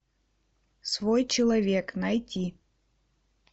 свой человек найти